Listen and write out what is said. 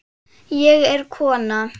Ég er kona